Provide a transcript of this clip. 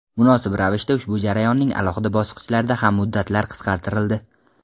Munosib ravishda ushbu jarayonning alohida bosqichlarida ham muddatlar qisqartirildi.